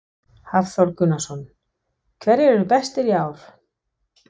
Hafþór Gunnarsson: Hverjir eru bestir í ár?